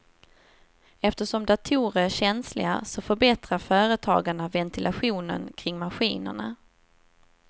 Eftersom datorer är känsliga så förbättrar företagarna ventilationen kring maskinerna.